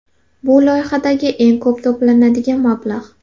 Bu loyihadagi eng ko‘p to‘lanadigan mablag‘.